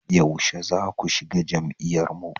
Yaushe zaku shiga jam'iyyar mu?